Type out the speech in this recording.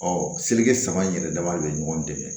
Ɔ selikɛ saba in yɛrɛ dama de bɛ ɲɔgɔn dɛmɛ